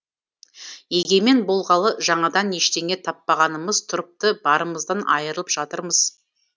егемен болғалы жаңадан ештеңе таппағанымыз тұрыпты барымыздан айырылып жатырмыз